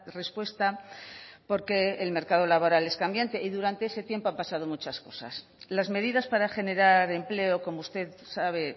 respuesta porque el mercado laboral es cambiante y durante ese tiempo han pasado muchas cosas las medidas para generar empleo como usted sabe